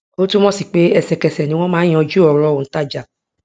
ó túnmọ sí pé ẹsẹkẹsẹ ni wọn máa ń yanjú ọrọ òǹtajà